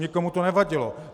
Nikomu to nevadilo.